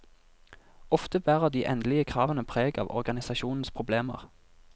Ofte bærer de endelige kravene preg av organisasjonenes problemer.